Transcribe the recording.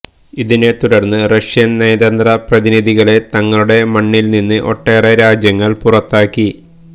ഇതിനെത്തുടർന്ന് Russian നയതന്ത്ര പ്രതിനിധികളെ തങ്ങളുടെ മണ്ണിൽനിന്ന് ഒട്ടേറെ രാജ്യങ്ങൾ പുറത്താക്കി